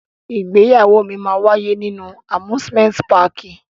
Igbeyawo mi yóò waye ninu amusimenti pààki.